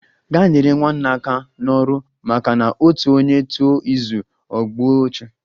Gaa nyere nwanne aka n'ọrụ! maka na otu onye tụọ izu, o gbue ọchụ